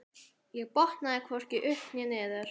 Ég botnaði hvorki upp né niður.